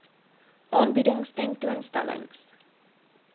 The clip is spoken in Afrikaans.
aanbiedings tentoon stellings